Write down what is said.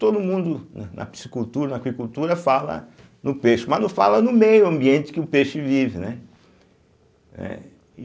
Todo mundo na na psicultura, na aquicultura, fala no peixe, mas não fala no meio ambiente que o peixe vive, né eh e.